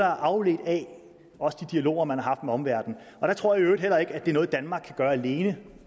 er afledt af de dialoger man har med omverdenen og jeg tror i øvrigt heller ikke det er noget danmark kan gøre alene